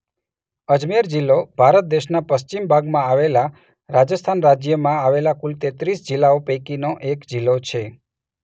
અજમેર જિલ્લો ભારત દેશના પશ્ચિમ ભાગમાં આવેલા રાજસ્થાન રાજ્યમાં આવેલા કુલ તેત્રીસ જિલ્લાઓ પૈકીનો એક જિલ્લો છે.